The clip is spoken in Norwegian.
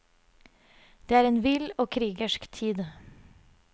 Det er en vill og krigersk tid.